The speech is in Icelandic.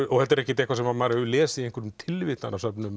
og þetta er ekkert eitthvað sem maður hefur lesið í einhverjum